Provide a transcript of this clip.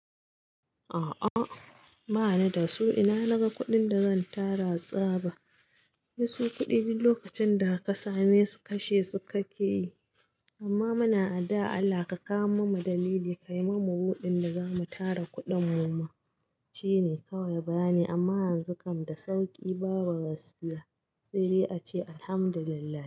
A'a, ba ni da su. Ina naga kuɗin da zan tara tsaba? Sai su kuɗi duk lokacin da ka same su kashe su ka ke yi. Amma muna addu'a Allah ka kawo mana dalili, ka yi mana budin da za mu tara kuɗin mu ma. Shi ne kawai bayani amma yanzu kam da sauƙi babu gaskiya. Saidai ace, Alhamdulillah.